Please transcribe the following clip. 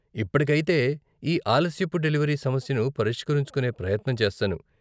ఇప్పటికైతే, ఈ ఆలస్యపు డెలివరీ సమస్యను పరిష్కరించుకునే ప్రయత్నం చేస్తాను.